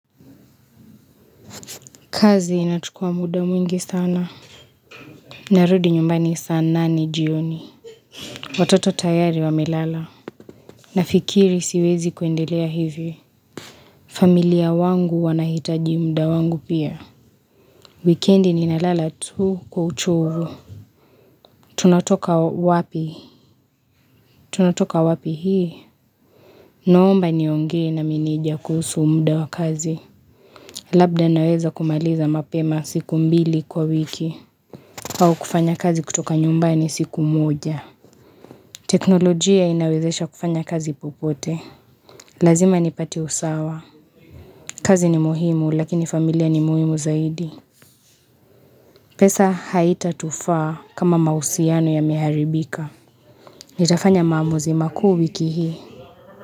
Kazi inachukua muda mwingi sana. Narudi nyumbani sa nane jioni. Watoto tayari wamelala. Nafikiri siwezi kuendelea hivi. Familia wangu wanahitaji muda wangu pia. Wikendi ninalala tu kwa uchovu Tunatoka wapi? Tunatoka wapi hii? Noomba niongee na meneja kuhusu muda wa kazi. Labda naweza kumaliza mapema siku mbili kwa wiki. Au kufanya kazi kutoka nyumbani siku moja. Teknolojia inawezesha kufanya kazi popote. Lazima nipate usawa. Kazi ni muhimu lakini familia ni muhimu zaidi. Pesa haitatufaa kama mahusiano yameharibika. Nitafanya maamuzi makuu wiki hii.